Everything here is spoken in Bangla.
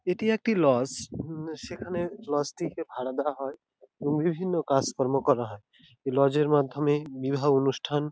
এটি একটি লজ উম সেখানে লজ টিকে ভাড়া দেওয়া হয় এবং বিভিন্ন কাজকর্ম করা হয় এই লজ এর মাধ্যমে বিবাহ অনুষ্ঠান--